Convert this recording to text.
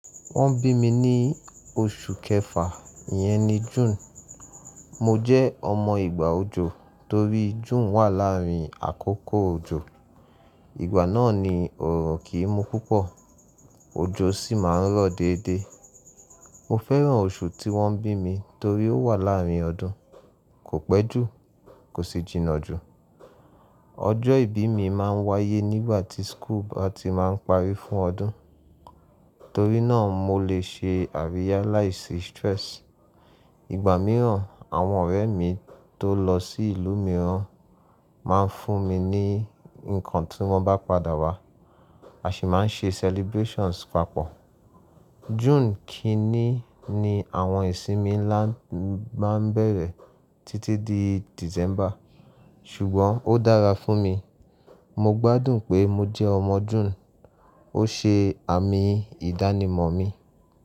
Wọ́n bí mi ní oṣù kẹfà, ìyẹn ni June. Mo jẹ́ ọmọ ìgbà òjò torí June wà láàárín àkókò òjò. Ìgbà náà ni òòrùn kì í mú púpọ̀, òjò sì máa ń rọ̀ déédé. Mo fẹ́ràn oṣù tí wọ́n bí mi torí ó wà láàárín ọdún, kò pẹ́ jù, kò sì jìnnà jù. Ọjọ́ ìbí mi máa ń wáyé nígbà tí school bá ti máa ń parí fún ọdún. Torí náà mo lè ṣe àríyá láì sí stress. Ìgbà mìíràn àwọn ọ̀rẹ́ mi tó lọ sí ìlú mìíràn máa ń fún mi ní nǹkan tí wọ́n bá padà wá, a sì máa ń ṣe celebrations papọ̀. June kiní ni àwọn ìsinmi ńlá máa ń bẹ̀rẹ̀ títí di December, ṣùgbọ́n ó dára fún mi. Mo gbádùn pé mo jẹ́ ọmọ June, ó ṣe àmì ìdánimọ̀ mi.